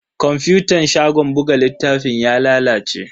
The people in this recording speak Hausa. Kwafutan shagon buga littafin ya lalace.